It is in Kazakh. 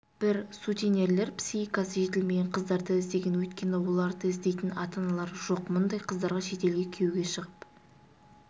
бір сутенерлер психикасы жетілмеген қыздарды іздеген өйткені оларды іздейтін ата-аналары жоқ мұндай қыздарға шетелге күйеуге шығып